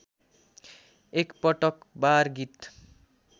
एकपटक बार गीत